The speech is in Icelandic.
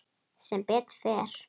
Sem betur fer?